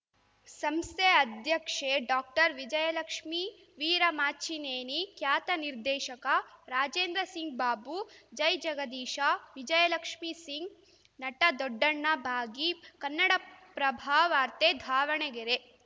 ಸಂಸ್ಥೆ ಅಧ್ಯಕ್ಷೆ ಡಾಕ್ಟರ್ವಿಜಯಲಕ್ಷ್ಮೀ ವೀರಮಾಚಿನೇನಿ ಖ್ಯಾತ ನಿರ್ದೇಶಕ ರಾಜೇಂದ್ರಸಿಂಗ್‌ ಬಾಬು ಜೈಜಗದೀಶ ವಿಜಯಲಕ್ಷ್ಮೀ ಸಿಂಗ್‌ ನಟ ದೊಡ್ಡಣ್ಣ ಭಾಗಿ ಕನ್ನಡಪ್ರಭವಾರ್ತೆ ಧಾವಣಗೆರೆ